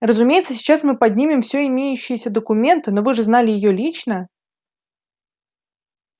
разумеется сейчас мы поднимем все имеющиеся документы но вы же знали её лично